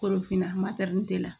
Kolofina matɛrɛli la